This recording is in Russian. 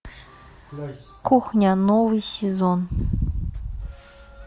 кухня новый сезон